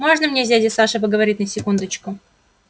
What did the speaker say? можно мне с дядей сашей поговорить секундочку